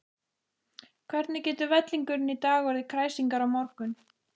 Hvernig getur vellingurinn í dag orðið kræsingar á morgun?